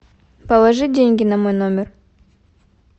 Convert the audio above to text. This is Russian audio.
положи деньги на мой номер